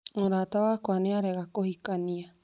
Mũrata wakwa nĩ arega kũhikania